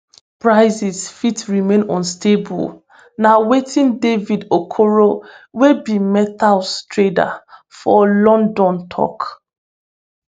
prices fit remain unstable na wetin david okoro wey be metals trader for london tok